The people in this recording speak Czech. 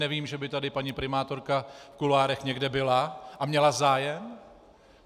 Nevím, že by tady paní primátorka v kuloárech někde byla a měla zájem.